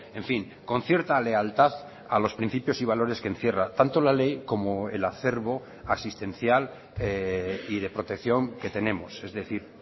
en fin con cierta lealtad a los principios y valores que encierra tanto la ley como el acervo asistencial y de protección que tenemos es decir